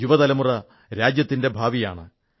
യുവതലമുറ രാജ്യത്തിന്റെ ഭാവിയാണ്